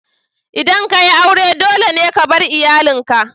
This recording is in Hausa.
Idan ka yi aure, dole ne ka bar iyalinka.